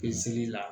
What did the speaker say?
Pezeli la